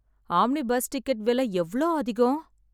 Omni bus ticket விலை எவ்ளோ அதிகம்?